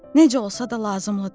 Necə olsa da lazımlıdır.